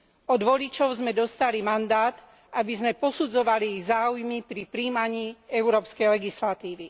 Od voličov sme dostali mandát, aby sme posudzovali ich záujmy pri prijímaní európskej legislatívy.